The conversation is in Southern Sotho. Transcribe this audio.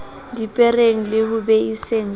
dipereng le ho beiseng ka